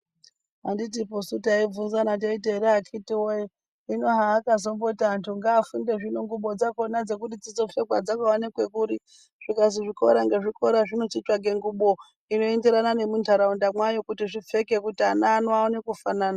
Anditiposu taibvunzana teiti here akhiti woye hino zvakazongoti antu ngaafunde zvino ngumbo dzakhona dzekuti vazopfeka dzingaoneke kuri zvikazi zvikora ngezvikora zvinochitsvake ngumbo noenderana nentaraunda kuti zvipfeke kuti ana aone kufanana.